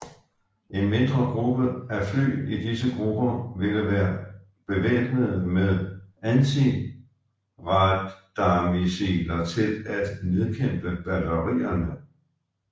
En mindre gruppe af fly i disse grupper ville være bevæbnede med antiradarmissiler til at nedkæmpe batterierne